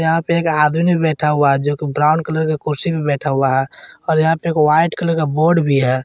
यहां पे एक आदमी बैठा हुआ जोकि ब्राउन कलर का कुर्सी पे बैठा हुआ है और यहां पे एक वाइट कलर का बोर्ड भी है।